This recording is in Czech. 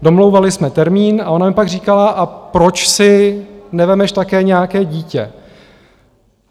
Domlouvali jsme termín a ona mi pak říkala: A proč si nevezmeš také nějaké dítě?